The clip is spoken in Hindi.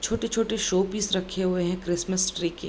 छोटे-छोटे शोपीस रखे हुए हैं क्रिसमस ट्री के।